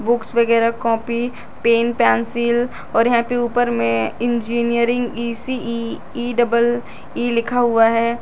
Books वगैरह copy pen pencil और यहां पे ऊपर में engineering E C E E double E लिखा हुआ है।